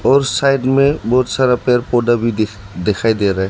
और साइड में बहोत सारा पेर पौधा भी दिख दिखाई दे रहा है।